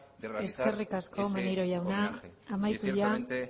de realizar ese homenaje y ciertamente